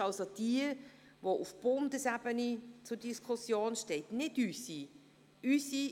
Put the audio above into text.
Die SV17 ist jene, welche auf Bundesebene zur Diskussion steht, nicht die unsere.